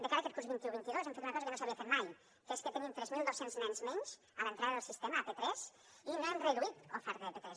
de cara aquest curs vint un vint dos hem fet una cosa que no s’havia fet mai que és que tenim tres mil dos cents nens menys a l’entrada del sistema a p3 i no hem reduït oferta de p3